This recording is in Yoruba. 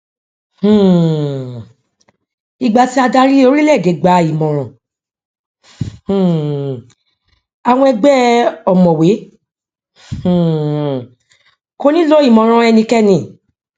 um ìgbà tí adarí orílẹèdè gbà ìmọràn um àwọn ègbé ọmọwé um kò ní lọ ìmọràn ẹnikẹni